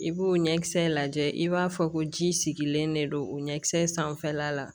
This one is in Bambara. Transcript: I b'o ɲɛkisɛ lajɛ i b'a fɔ ko ji sigilen de don o ɲɛkisɛ sanfɛla la